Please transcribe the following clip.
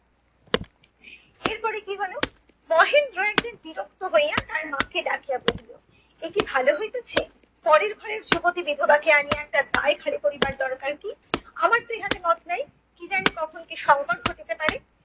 এরপরে কী হলো, মহেন্দ্র একদিন বিরক্ত হইয়া তার মাকে ডাকিয়া বললো এ কি ভালো হইতেছে? পরের ঘরের যুবতী বিধবাকে আনিয়া তার দায় ঘাড়ে করিবার দরকার কী? আমার তো ইহাতে মত নেই। কী জানি কখন কী সংকট ঘটিতে পারে।